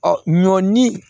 Ɔ ɲɔ ni